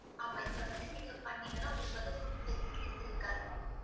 ஆமாம் இதுல வந்து நீங்க பண்ணீங்கன்னா உங்களுக்கு வந்து food facilities இருக்காது ma'am